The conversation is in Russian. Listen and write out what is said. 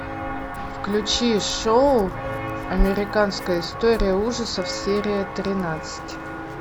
включи шоу американская история ужасов серия тринадцать